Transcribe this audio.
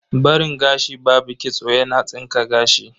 Barin gashi babu kitso yana tsinka gashi.